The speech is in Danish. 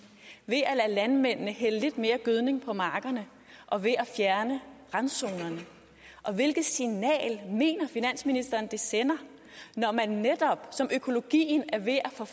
ved at lade landmændene hælde lidt mere gødning på markerne og ved at fjerne randzonerne og hvilket signal mener finansministeren det sender når man netop som økologien er ved at få